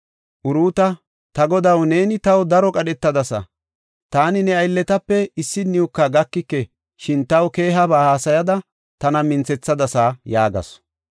Uruuta, “Ta godaw, neeni taw daro qadhetadasa; taani ne aylletape issiniwuka gakike, shin taw keehaba hasayada, tana minthethadasa” yaagasu.